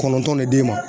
Kɔnɔntɔnn ne d'e ma